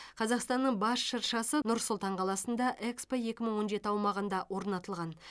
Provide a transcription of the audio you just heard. қазақстанның бас шыршасы нұр сұлтан қаласында экспо екі мың он жеті аумағында орнатылған